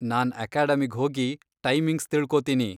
ನಾನ್ ಅಕಾಡೆಮಿಗ್ ಹೋಗಿ ಟೈಮಿಂಗ್ಸ್ ತಿಳ್ಕೊತೀನಿ.